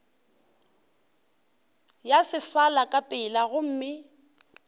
ya sefala ka pela gomme